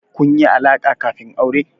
Kun yi alaƙa kafin aure?